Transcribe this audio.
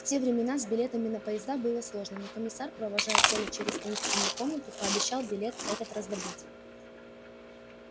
в те времена с билетами на поезда было сложно но комиссар провожая колю через таинственную комнату пообещал билет этот раздобыть